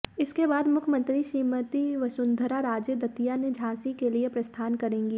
इसके बाद मुख्यमंत्री श्रीमती वंसुधरा राजे दतिया से झांसी के लिए प्रस्थान करेंगी